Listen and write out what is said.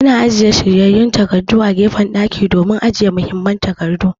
Ana ajiye shiryayye na takardu a wani gefe na ɗakin zama domin ajiye muhimman takardu.